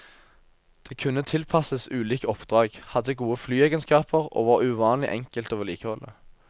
Det kunne tilpasses ulike oppdrag, hadde gode flyegenskaper og var uvanlig enkelt å vedlikeholde.